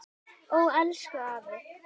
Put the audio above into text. Ó, elsku afi.